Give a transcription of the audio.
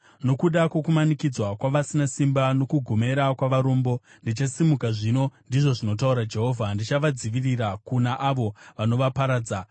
“Nokuda kwokumanikidzwa kwavasina simba nokugomera kwavarombo, ndichasimuka zvino,” ndizvo zvinotaura Jehovha. “Ndichavadzivirira kuna avo vanovaparadza.”